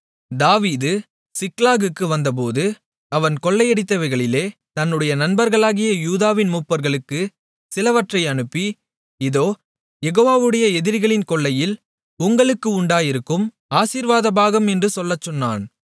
தாவீது சிக்லாகுக்கு வந்தபோது அவன் கொள்ளையடித்தவைகளிலே தன்னுடைய நண்பர்களாகிய யூதாவின் மூப்பர்களுக்குச் சிலவற்றை அனுப்பி இதோ யெகோவாவுடைய எதிரிகளின் கொள்ளையில் உங்களுக்கு உண்டாயிருக்கும் ஆசீர்வாதபாகம் என்று சொல்லச் சொன்னான்